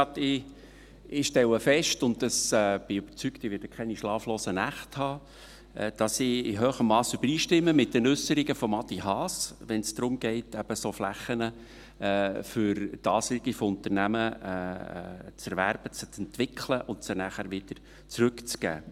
Ich stelle fest – und ich bin überzeugt, ich werde keine schlaflosen Nächte haben –, dass ich in hohem Mass mit den Äusserungen von Adrian Haas übereinstimme, wenn es darum geht, eben solche Flächen für die Ansiedlung von Unternehmen zu erwerben, zu entwickeln und sie nachher wieder zurückzugeben.